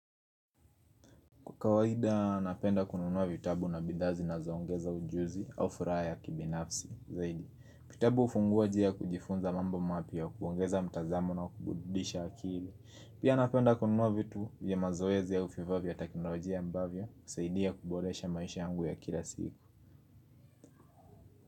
Kwa kawaida, napenda kununua vitabu na bidhaa zinazoongeza ujuzi au furaha ya kibinafsi zaidi. Vitabu hufungua njia kujifunza mambo mapya kuongeza mtazamo na kuburudisha akili. Pia napenda kununua vitu vya mazoezi au vifaa vya teknolojia ambavyo husaidia kuboresha maisha yangu ya kila siku.